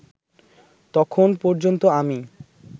তখন পর্যন্ত আমি